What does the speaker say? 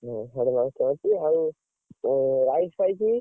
ସାଡେ rice ଫାଇସି ଆଉ rice ଫାଇସି?